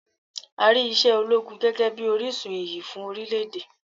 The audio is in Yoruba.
A rí iṣẹ́ ológun gẹ́gẹ́ bíi orísun iyì fún orílẹ̀ èdè.